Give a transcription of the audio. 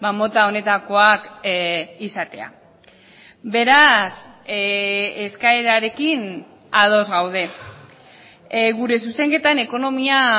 mota honetakoak izatea beraz eskaerarekin ados gaude gure zuzenketan ekonomia